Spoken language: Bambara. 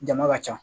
Jama ka ca